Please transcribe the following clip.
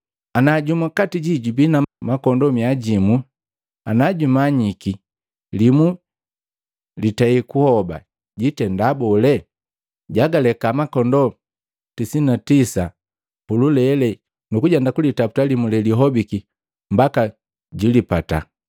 “Ana jumu kati jii jubi na makondoo makomi komi, najumanyiki limu liteikuhoba, jiitenda bole? Jwagaleka makondoo makomi tisa na tisa pululela nukujenda kulitaputa limu lelihobiki mbaka julipata.